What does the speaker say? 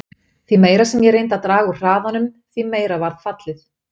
Því meira sem ég reyndi að draga úr hraðanum, því meira varð fallið.